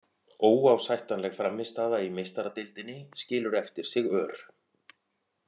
Óásættanleg frammistaða í Meistaradeildinni skilur eftir sig ör.